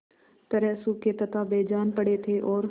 तरह सूखे तथा बेजान पड़े थे और